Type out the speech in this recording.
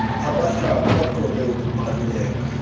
abahlali baqonde ukubaluleka